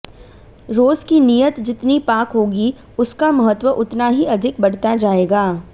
रोज़ की नियत जितनी पाक होगी उसका महत्व उतना ही अधिक बढ़ता जाएगा